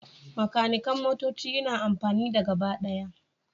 Makanikan motoci yana amfani da gabaɗaya